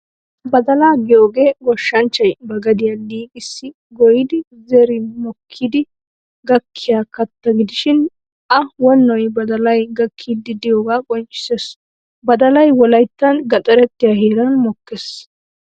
Badalaa giyoogee goshshanchchay ba gadiyaa liiqissi goyyidi zerin mokkidi gakkiyaa katta gidishin a wonoy badalay gakkiiddi diyoogaa qonccissees. Badalay wolayttan gaxarettiyaa heeran mokkees.